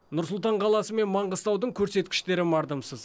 нұр сұлтан қаласы мен маңғыстаудың көрсеткіштері мардымсыз